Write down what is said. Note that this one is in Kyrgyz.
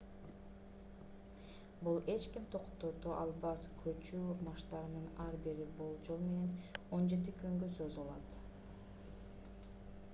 бул эч ким токтото албас көчүү марштарынын ар бири болжол менен 17 күнгө созулат